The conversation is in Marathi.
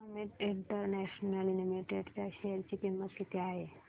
अमित इंटरनॅशनल लिमिटेड च्या शेअर ची किंमत किती आहे